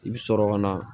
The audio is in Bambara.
I bɛ sɔrɔ ka na